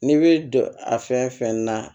N'i bɛ don a fɛn fɛn na